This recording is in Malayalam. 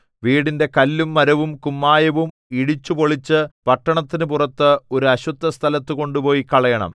വീടിന്റെ കല്ലും മരവും കുമ്മായവും ഇടിച്ചുപൊളിച്ച് പട്ടണത്തിന് പുറത്ത് ഒരു അശുദ്ധസ്ഥലത്തു കൊണ്ടുപോയി കളയണം